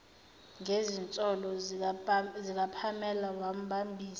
ngezinsolo zikapamela wambambisa